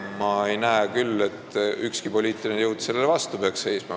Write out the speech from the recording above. Ma ei näe küll, et ükski poliitiline jõud peaks sellele vastu seisma.